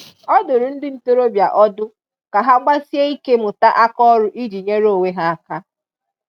Ọ dụrụ ndị ntoroọbịa ọdụ ka ha gbasie ike mụta aka ọrụ ịjị nyere onwe ha aka